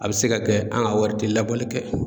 A bɛ se ka kɛ an ka wari tɛ labɔli kɛ.